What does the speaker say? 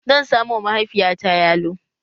Zan samo wa mahaifiyata yalo